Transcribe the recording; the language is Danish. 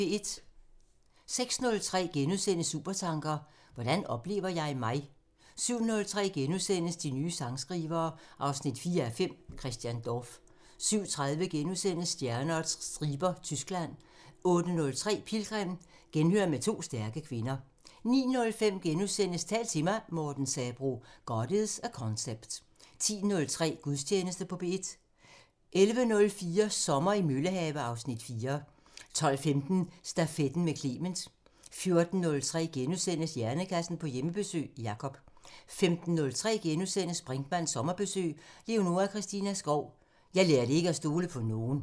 06:03: Supertanker: Hvordan oplever jeg mig? * 07:03: De nye sangskrivere 4:5 – Christian Dorph * 07:30: Stjerner og striber – Tyskland * 08:03: Pilgrim – Genhør med to stærke kvinder 09:05: Tal til mig – Morten Sabroe: "God is a concept" * 10:03: Gudstjeneste på P1 11:04: Sommer i Møllehave (Afs. 4) 12:15: Stafetten med Clement 14:03: Hjernekassen på Hjemmebesøg – Jacob * 15:03: Brinkmanns sommerbriks: Leonora Christina Skov – Jeg lærte ikke at stole på nogen *